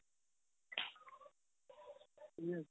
yes